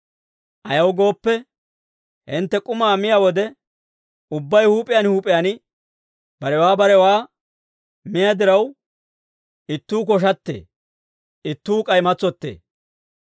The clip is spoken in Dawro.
Ayaw gooppe, hintte k'umaa miyaa wode, ubbay huup'iyaan huup'iyaan barewaa barewaa miyaa diraw, ittuu koshattee; ittuu k'ay matsottee.